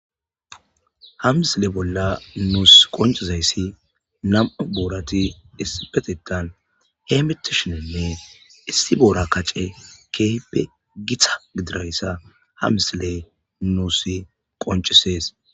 Ha misile bolla nuus qonccizayssi nam'u boorati issipetetan heemetishenne issi boora kaccey keehippe gita gididayssa ha misiley nuus qoncisees.